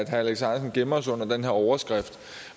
herre alex ahrendtsen gemmer sig under den her overskrift